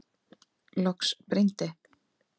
Loks brýndi